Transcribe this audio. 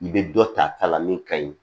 I bɛ dɔ ta ta la min kaɲi